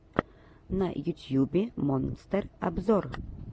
на ютьюбе монстер обзор